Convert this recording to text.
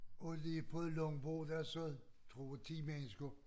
Og lige på et langbord der sad tror 10 mennesker